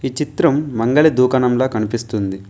ఈ చిత్రం మంగళ దూకాణంలా కనిపిస్తుంది.